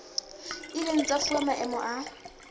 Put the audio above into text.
ileng tsa fuwa maemo a